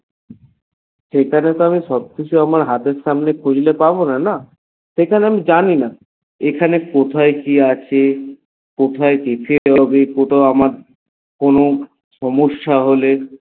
সেখানে তো আমি সবকিছু হাতের থের সামনে খুঁজলে পাবনা না সেখানে আমি জানিনা এখানে কোথায় কি আছে কোথায় কি বেড়াবে ওখানে কোনো সমস্যা হলে